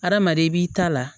Hadamaden b'i ta la